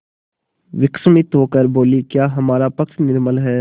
विस्मित होकर बोलीक्या हमारा पक्ष निर्बल है